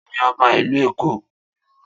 Ta ni ọba ìlú Èkó?